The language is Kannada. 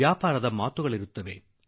ವ್ಯಾಪಾರದ ಮಾತುಕತೆ ನಡೆಯುತ್ತದೆ